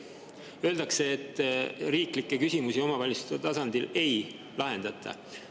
Öeldakse, et riiklikke küsimusi omavalitsuste tasandil ei lahendata.